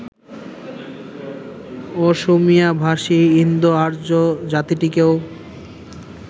অসমীয়াভাষী ইন্দো আর্য জাতিটিকেও